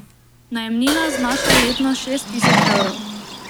Najemnina znaša letno šest tisoč evrov.